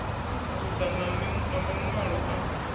u ḓa na maṅwalo a